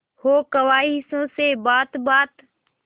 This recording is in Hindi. हो ख्वाहिशों से बात बात